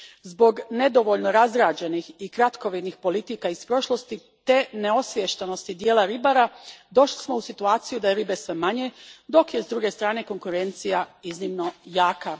Zbog nedovoljno razrađenih i kratkovidnih politika iz prošlosti te neosviještenosti dijela ribara došli smo u situaciju da je ribe sve manje, dok je, s druge strane, konkurencija iznimno jaka.